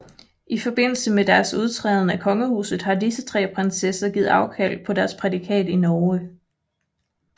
I forbindelse med deres udtræden af kongehuset har disse tre prinsesser givet afkald på deres prædikat i Norge